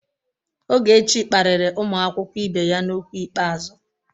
Ogechi kparịrị ụmụ akwụkwọ ibe ya n'okwu ikpeazụ.